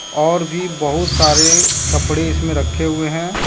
और भी बहुत सारे कपड़े इसमें रखे हुए हैं।